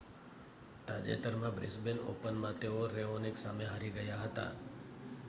તાજેતરમાં બ્રિસ્બેન ઓપનમાં તેઓ રેઓનિક સામે હારી ગયા હતા